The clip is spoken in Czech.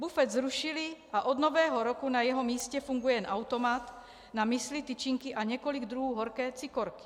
Bufet zrušili a od Nového roku na jeho místě funguje jen automat na müsli tyčinky a několik druhů horké cikorky.